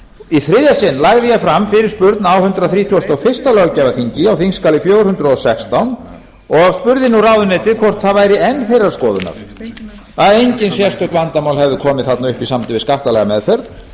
í þriðja sinn lagði ég fram fyrirspurn á hundrað þrítugasta og fyrsta löggjafarþingi á þingskjali fjögur hundruð og sextán og spurði nú ráðuneytið hvort það væri enn þeirrar skoðunar að engin sérstök vandamál hefðu komið þarna upp í sambandi við skattalega meðferð